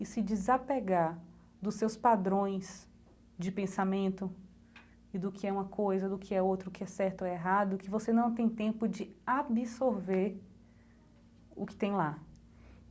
e se desapegar dos seus padrões de pensamento e do que é uma coisa, do que é outra, o que é certo ou errado, que você não tem tempo de absorver o que tem lá.